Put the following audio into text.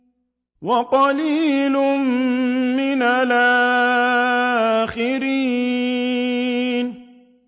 وَقَلِيلٌ مِّنَ الْآخِرِينَ